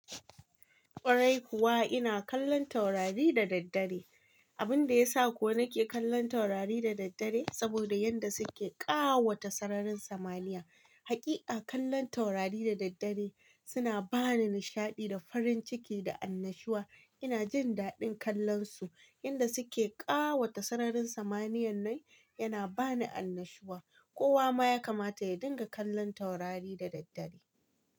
Ƙwarai kuwa ina kallon taurari da daddare. Abin da ya sa ko nake kallon taurari da daddare saboda yanda suke ƙawata sararin samaniya. Haƙiƙa kallan taurari da daddare suna bani nishaɗi da farin ciki da annashuwa. Ina jin daɗin kallan su, yanda suke ƙawata sararin samaniyan nan yana bani annashuwa. Kowa ma ya kamata ya dinga kallan taurari da daddare.